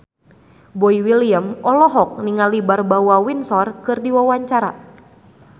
Boy William olohok ningali Barbara Windsor keur diwawancara